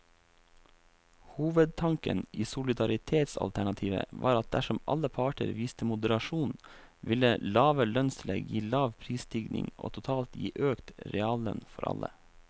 Hovedtanken i solidaritetsalternativet var at dersom alle parter viste moderasjon, ville lave lønnstillegg gi lav prisstigning og totalt gi økt reallønn for alle.